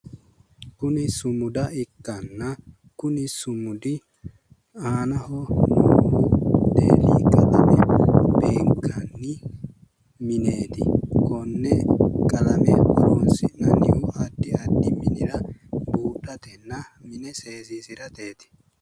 kuni sumuda ikkanna kuni sumudi aanaho deeili beenakanni mineeti konne qalame horonsi'nanni addi addi minira buudhatenna mine seesiisirateeti